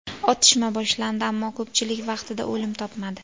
Otishma boshlandi, ammo ko‘pchilik vaqtida o‘lim topmadi.